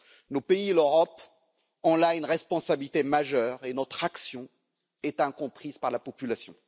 Nos pays et l'Europe ont là une responsabilité majeure et notre action est incomprise par la population.